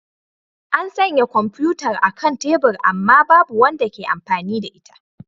An sanya kwamfutar a kan tebur amma babu wanda ke amfani da ita.